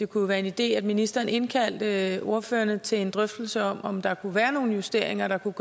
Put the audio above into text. kunne være en idé at ministeren indkaldte ordførerne til en drøftelse om om der kunne være nogle justeringer der kunne